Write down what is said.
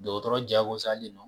Dɔgɔtɔrɔ diyagosalen